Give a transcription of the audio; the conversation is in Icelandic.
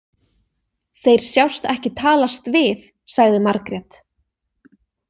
Þeir sjást ekki talast við, sagði Margrét.